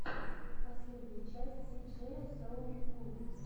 последняя часть си джея соу кул